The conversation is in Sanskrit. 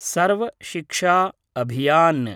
सर्व शिक्षा अभियान्